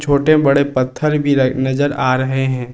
छोटे बड़े पत्थर भी रखे नजर आ रहे हैं।